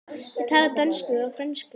Ég tala dönsku og frönsku.